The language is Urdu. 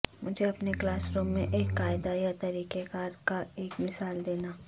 مجھے اپنے کلاس روم میں ایک قاعدہ یا طریقہ کار کا ایک مثال دینا